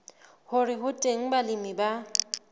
hore ho teng balemi ba